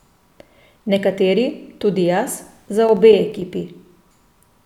Nekateri, tudi jaz, za obe ekipi.